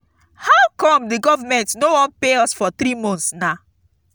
how come the government no wan pay us for three months now